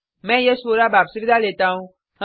मैं यश वोरा आपसे विदा लेता हूँ